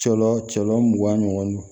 Cɔ cɔ mugan ɲɔgɔn